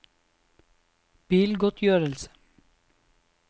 bilgodtgjørelse